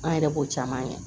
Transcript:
An yɛrɛ b'o caman kɛ